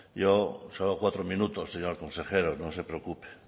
yo solo cuatro minutos señor consejero no se preocupe